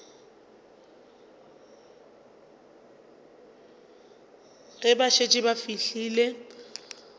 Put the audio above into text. ge ba šetše ba fihlile